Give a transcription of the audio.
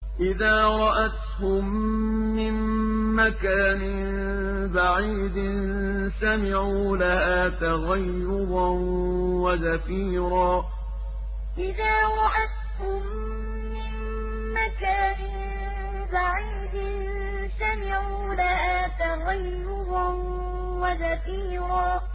إِذَا رَأَتْهُم مِّن مَّكَانٍ بَعِيدٍ سَمِعُوا لَهَا تَغَيُّظًا وَزَفِيرًا إِذَا رَأَتْهُم مِّن مَّكَانٍ بَعِيدٍ سَمِعُوا لَهَا تَغَيُّظًا وَزَفِيرًا